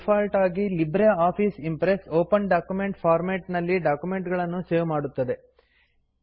default ಆಗಿ LibreOffice Impress open document format ನಲ್ಲಿ document ಗಳನ್ನು ಸೇವ್ ಮಾಡುತ್ತದೆ